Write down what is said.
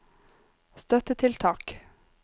støttetiltak